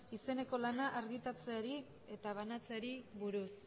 izeneko lana argitaratzeari eta banatzeari buruz